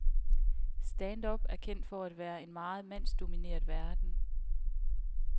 Stand-up er kendt for at være en meget mandsdomineret verden.